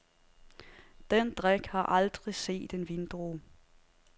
Den drik har aldrig set en vindrue.